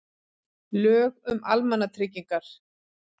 Lög um almannatryggingar.